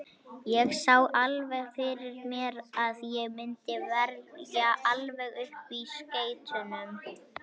Ég sá alveg fyrir mér að ég myndi verja alveg upp í skeytunum.